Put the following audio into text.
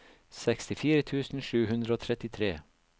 sekstifire tusen sju hundre og trettitre